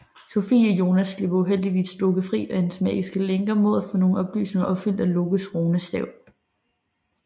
Sofie og Jonas slipper uheldigvis Loke fri af hans magiske lænker mod at få nogle ønsker opfyldt af Lokes runestave